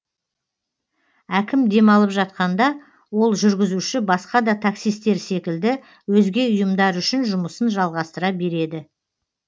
әкім демалып жатқанда ол жүргізуші басқа да таксистер секілді өзге ұйымдар үшін жұмысын жалғастыра береді